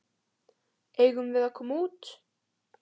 Eigum við að koma út?